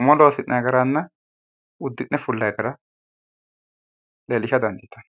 umo loosi'nanni garanna uddi'ne fullanni gara leellisha dandiitanno.